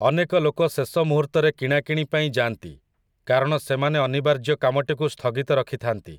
ଅନେକ ଲୋକ ଶେଷ ମୁହୂର୍ତ୍ତରେ କିଣାକିଣି ପାଇଁ ଯାଆନ୍ତି, କାରଣ ସେମାନେ ଅନିବାର୍ଯ୍ୟ କାମଟିକୁ ସ୍ଥଗିତ ରଖିଥାନ୍ତି ।